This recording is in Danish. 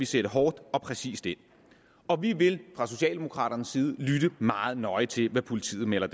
sætte hårdt og præcist ind og vi vil fra socialdemokraternes side lytte meget nøje til hvad politiet melder